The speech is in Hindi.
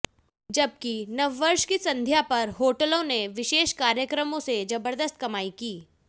जबकि नववर्ष की संध्या पर होटलों ने विशेष कार्यक्रमों से जबर्दस्त कमाई की